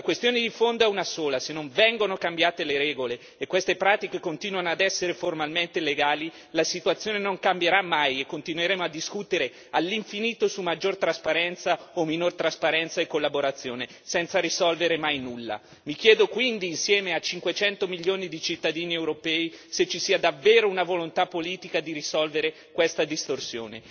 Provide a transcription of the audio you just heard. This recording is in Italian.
La questione di fondo è una sola se non vengono cambiate le regole e queste pratiche continuano ad essere formalmente legali, la situazione non cambierà mai e continueremo a discutere all'infinito su maggiore trasparenza o minore trasparenza e collaborazione, senza risolvere mai nulla. Mi chiedo quindi insieme a 500 milioni di cittadini europei se ci sia davvero una volontà politica di risolvere questa distorsione.